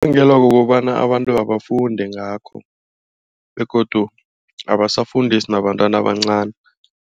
Kubangelwa kukobana abantu abafundi ngakho begodu abasafundisi nabantwana abancani.